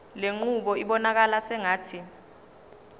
lenqubo ibonakala sengathi